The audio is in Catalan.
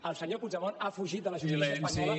el senyor puigdemont ha fugit de la justícia espanyola